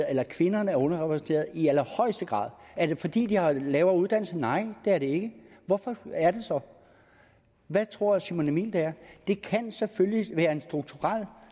at kvinderne er underrepræsenteret i allerhøjeste grad er det fordi de har lavere uddannelse nej det er det ikke hvorfor er det så hvad tror simon emil det er det kan selvfølgelig være strukturelt